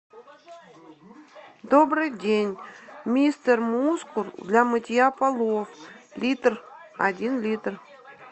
добрый день мистер мускул для мытья полов литр один литр